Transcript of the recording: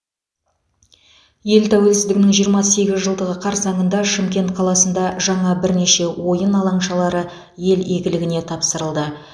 ел тәуелсіздігінің жиырма сегіз жылдығы қарсаңында шымкент қаласында жаңа бірнеше ойын алаңшалары ел игіліне тапсырылды